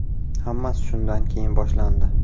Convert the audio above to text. Hammasi shundan keyin boshlandi.